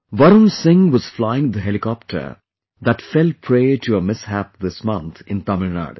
Varun Singh was flying the helicopter that fell prey to a mishap this month in Tamil Nadu